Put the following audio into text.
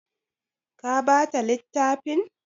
Ka ba ta littafin?